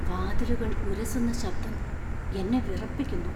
വാതിലുകൾ ഉരസുന്ന ശബ്ദം എന്നെ വിറപ്പിക്കുന്നു.